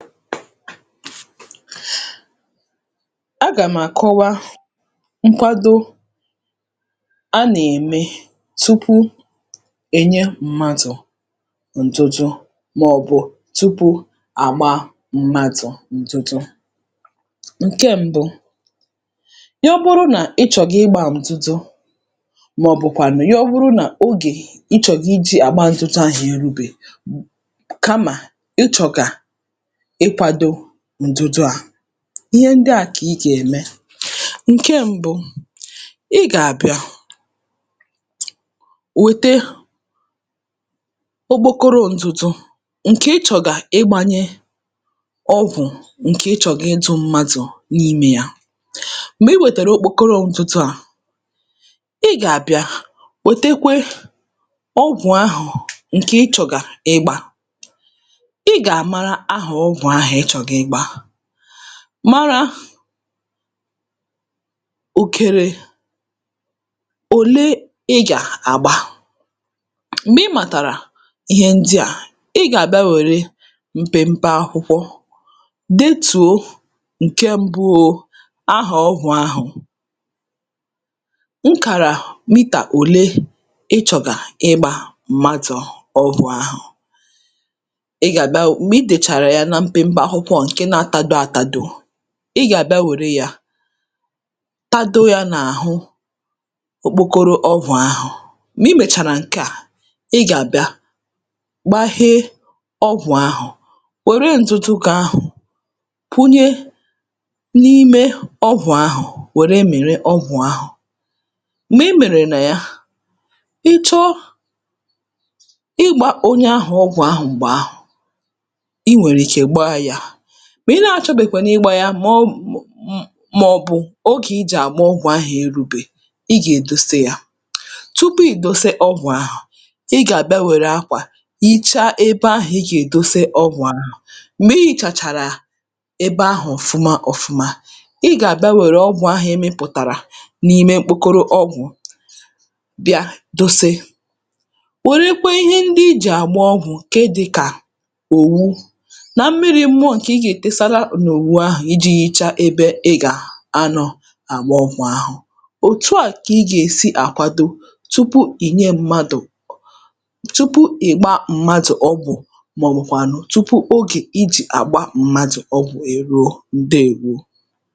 agà m àkọwa ṅkwado a nà-ème tupu è nye m̀madụ̀ ǹdụdụ màọ̀bụ̀ tupu à gbaa m̀madụ̀ ǹtụtụ Ṅ̀ke m̄bụ̄ yo bụrụ nà ị chọ̀gà ịgbā ǹtụtụ màọ̀bụ̀kwànị yọ bụrụ nà ogè ị chọ̀rọ̀ ijī àgba ntụtụ̣ ahụ̀ erūbèghi kamà ị chọ̀gà ị kwādō ǹdụdụ à ihe ndị à kà ị gà-ème ṅ̀ke m̄bụ̄ ị gà-àbịa wòte okpokoro n̄dụ̄dụ̄ ṅ̀kè ị chọ̀gà ịgbānyē ọgwụ̀ ṅ̀kè ị chọ̀gà ịdụ̄ mmadụ̀ n’imē yā m̀gbè i wètèrè okpokoro ndụdụ à ị gà-àbịa wòtekwe ọgwụ̀ ahụ̀ ṅ̀kè ị chọ̀gà ị gbā ị gà-àmara ahà ọgwụ̀ ahụ̀ ị chọ̀gà ịgbā mara òkèrè òle ị gà-àgba m̀gbè ị màtàrà ihe ndị à ̣ gà-àbịa wère mpempe akwụkwọ detùo ṅ̀ke m̄bụ̄ o ahà ọgwụ̀ ahụ̀ ṅkàrà mità òle ị chọ̀gà ịgbā m̀madụ̀ ọgwụ̀ ahụ̀ ị gà-àbia wu ṁgbè ị tèchàrà ya na mpempe akwụkwọ ọ̀ ṅ̀ke nā-atado ātādō ị gà-àbịa wère yā tado yā̄ n’àhụ okpokoro ọgwụ̀ ahụ̀ m̀gbè ị mèchàrà ṅ̀ke à ị gà-àbịa gbahee ọgwụ̀ ahụ̀ wère ndụdụ gị̄ ahụ̀ kwụnye n’ime ọgwụ̀ ahụ̀ wère mị̀rị ọgwụ̀ ahụ̀ m̀gbè ị mị̀rị̀là ya ị chọọ ịgbā onye àhụ ọgwụ̀ ahụ m̀gbè ahụ̀ ̣ wèrè ike gbaa yā Mà ị na-achọ̄bèkwànụ̀ ịgbā yā mà ọ wụ mò m̀ Màọ̀bụ̀ ogè i jì àgba ọgwụ̀ ahụ̀ erūbè Iị gà-èdosa yā Tupu ị̀ dose ọgwù ahụ̀ i̩ gà-àbịa wère akwà hichaa ebe ahụ̀ ị gà-èdosa ọgwụ̀ ahụ̀ m̀gbè i hìchàchàrà ebe ahụ̀ ọ̀fụma ọ̄fụ̄mā ị gà-àbịa wère ọgwụ̀ ahụ̀ ị mị̄pụ̀tàrà n’ime mkpokoro ọgwụ̀ bịa dose wèrekwe ihe ndị i jì àgba ọgwụ̀ ke dị̄ kà òwu nà mmirī mụọ ṅ̀kè ị gà-ètesara n’òwu ahụ ijī hicha ebe ị gà-anọ̄ àgba ọgwụ̀ ahụ̀. Ọ̀tu à kà ị gà-èsi àkwado ọgwụ̀ ahụ tụpụ ì nye mmadụ̀ ọ tupu ị̀ gbaa mmadụ̀ ọgwụ̀ màọ̀bụ̀kwànụ̀ tupu ogè I jì àgba m̀madụ̀ ọgwụ̀ èruo Ǹdeèwo.